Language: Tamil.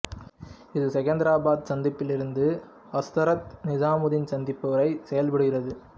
இது செகந்திரபாத் சந்திப்பில் இருந்து ஹஸ்ரத் நிசாமுதீன் சந்திப்பு வரை செயல்படுகிறது